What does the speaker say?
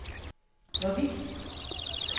hvorvidt